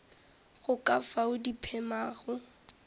go ka fao di phemago